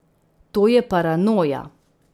To je paranoja.